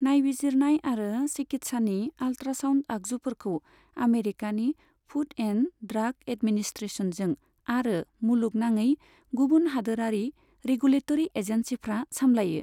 नायबिजिरनाय आरो चिकित्सानि आल्ट्रासाउन्ड आगजुफोरखौ आमेरिकानि फुड एन्ड ड्राग एडमिनिस्ट्रेशनजों आरो मुलुग नाङै गुबुन हादोरारि रेगुलेटरि एजेन्सिफ्रा सामलायो।